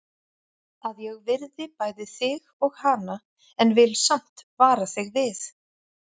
Að ég virði bæði þig og hana en vil samt vara þig við.